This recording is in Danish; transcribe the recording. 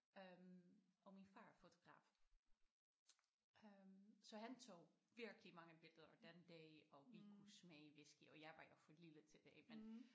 Øh og min far er fotograf øh så han tog virkelig mange billeder den dag og vi kunne smage whiskey og jeg var jo for lille til det ik men